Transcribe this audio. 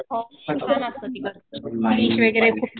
हो छान असतं तिकडचं वगैरे खूप